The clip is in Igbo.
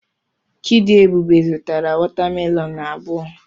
Chidiebube zụtara watamelonụ abụọ.